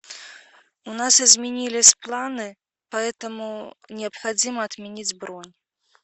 у нас изменились планы поэтому необходимо отменить бронь